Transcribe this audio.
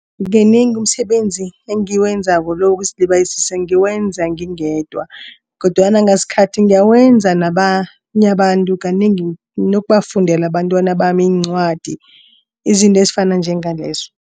Kanengi umsebenzi engiwenzako lo wokuzilibazisa ngiwenza ngingedwa. Kodwana ngasikhathi ngiyawenza nabanye abantu kanengi nokubafundela abantwana bami iincwadi izinto ezifana njengalezo.